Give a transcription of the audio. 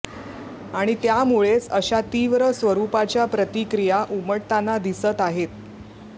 आणि त्यामुळेच अशा तीव्र स्वरुपाच्या प्रतिक्रिया उमटताना दिसत आहेत